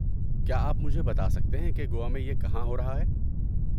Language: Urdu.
کیا آپ مجھے بتا سکتے ہیں کہ گوا میں یہ کہاں ہو رہا ہے؟